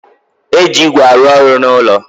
E ji ígwè arụ ọrụ n'ulo